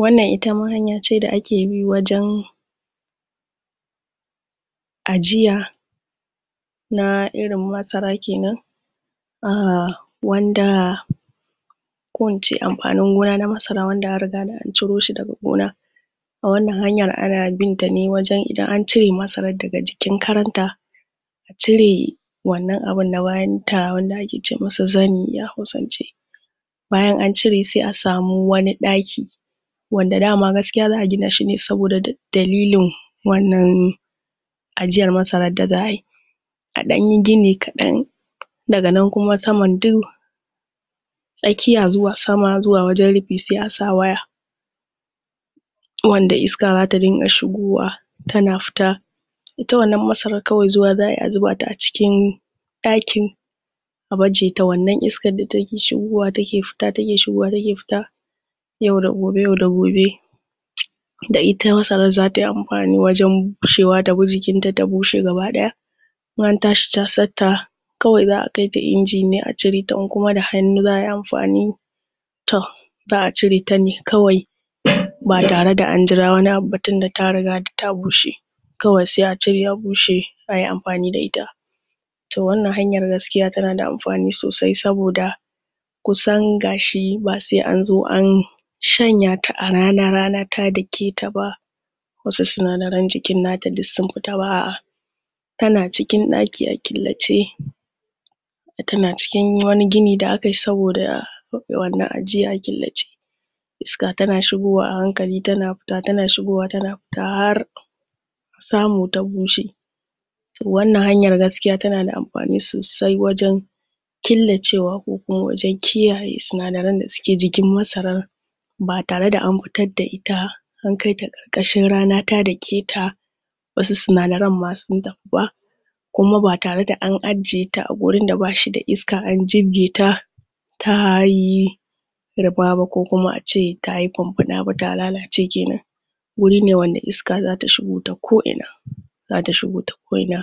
Wannan itama hanyace da ake bi wajen ajiya na irin masara kenan um wanda ko ince masara wanda anriga da anciro shi daga gona wannan hanyar ana binta ne wajen Idan ancire masaran daga jikin karanta acire wannan abun na bayanta wanda ake ce masa Zani a hausance bayan ancire sai a samu wani ɗaki wanda dama gaskiya zaʼa ginashi ne saboda dalilin wannan ajiyar masarar da za'ayi a ɗan yi gini kadan daga nan kuma saman duk Tsakiya zuwa sama wajen rufi sai asa waya wanda iska zata dinga shigowa tana fita ita wannan masaran kawai zuwa zaʼayi a zubata a cikin dakin a bajeta wannan iskan da take shigowa take fita, take shigowa take fita yau da gobe, yau da gobe, da ita masaran zatayi anfani wajen bushewa tabi jikinta ta bushe gabaɗaya gabaɗaya in antashi casanta kawai akaita inji ne a cireta inkuma da hannu zaʼayi anfani toh zaʼa cireta ne kawai batareda anjira wani abu ba tunda ta riga ta bushe kawai sai a cire a bushe Ayi anfani da ita toh wannan hanyar gaskiya tanada anfani Sosai saboda kusan gashi ba sai anzo an shanyata a rana, rana ta daketa ba wasu sinadaran jikin nata duk sun fita ba aʼa tana cikin daki a killace tana cikin wani gini da akayi saboda rufe wannan ajiya a killace iska tana shigowa a hankali tana fita, tana shigowa a hankali tana fita Har samu ta bushe toh wannan hanyar gaskiya tanada anfani Sosai wajen killacewa ko Kuma wajen kiyaye sinadaran da ke jikin masaran ba tareda anfitar da ita ankaita karkashin a ƙarƙashin rana ta daketa wasu sinadaran ma sun tafi ba Kuma ba tareda an ajiyeta a gurinda bashida iska an jibgeta ba ta yi ta yi ruba ba ko Kuma ace tayi funfuna ba ta lalace kenan wurine wanda iska zata shigo ta koʼina zata shigo ta koʼina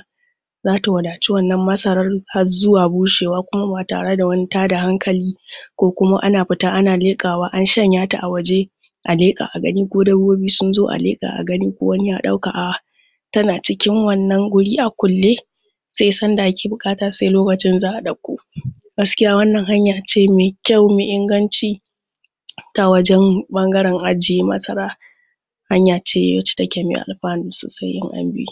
zata wadaci wannan masaran Har zuwa bushewa batareda wani tada hankali ko Kuma ana fita ana leƙawa an shanyata a waje a aleka a gani ko dabba sunzo a leka a gani ko wani ya dauka aʼa tana cikin wannan guri a kulle sai Sanda ake bukata sai lokacin zaʼa dauko gaskiya wannan hanyace me kyau me inganci wajen ɓangaren ajiye masara hanyace wanda take mai alfanu Sosai in an bi.